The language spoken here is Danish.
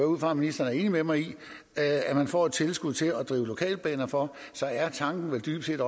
ud fra at ministeren er enig med mig i at man får et tilskud til at drive lokalbaner for tanken er vel dybest set